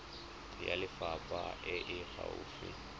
ya lefapha e e gaufi